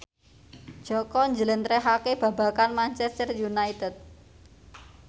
Jaka njlentrehake babagan Manchester united